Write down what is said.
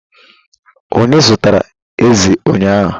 Onye zụtara ezi ụnyahụ